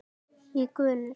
í gönur.